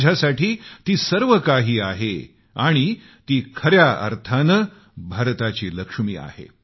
माझ्यासाठी ती सर्व काही आहे आणि ती खऱ्या अर्थानं भारताची लक्ष्मी आहे